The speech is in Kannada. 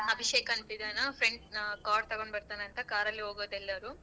ಅಭಿಷೇಕ್ ಅಂತ್ ಇದಾನ friend car ತಗೊಂಡ್ ಬರ್ತಾನಂತ car ಅಲ್ಲೇ ಹೋಗೊದೆಲ್ಲರೂ.